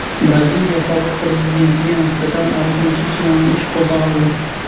Braziliya sobiq prezidentiga nisbatan oltinchi jinoiy ish qo‘zg‘aldi.